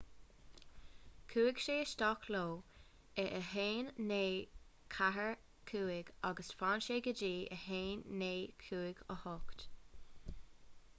chuaigh sé isteach leo i 1945 agus d'fhan sé go dtí 1958